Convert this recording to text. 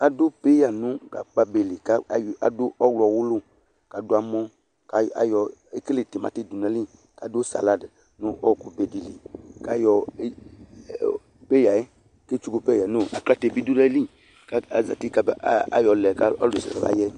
Adʊ peya nʊ gagba be li, kʊ adʊ ɔwlɔwʊlʊ, kʊ adʊ amɔ, ekele timati dʊ n'ayili, adʊ salade nʊ ɔɔkʊ be dɩ li, kʊ ayɔ peya yɛ, kʊ etsuku aklate bɩ dʊ n'ayili kʊ azati kayɔ lɛ kʊ ɔlʊnɔlʊ kɔma yɛ